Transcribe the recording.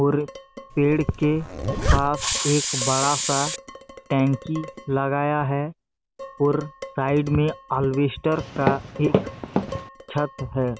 और पेड़ के पास एक बड़ा सा टंकी लगाया है और साइड में अल्वेसटर का एक छत है।